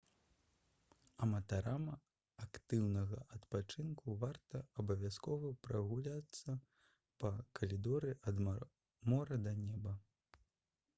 аматарам актыўнага адпачынку варта абавязкова прагуляцца па «калідоры ад мора да неба»